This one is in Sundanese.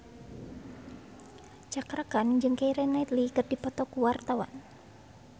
Cakra Khan jeung Keira Knightley keur dipoto ku wartawan